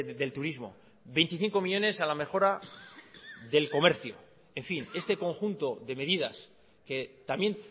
del turismo veinticinco millónes a la mejora del comercio en fin este conjunto de medidas que también